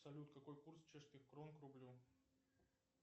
салют какой курс чешских крон к рублю